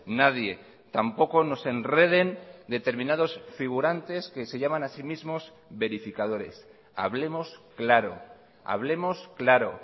nadie tampoco nos enreden determinados figurantes que se llaman a sí mismos verificadores hablemos claro hablemos claro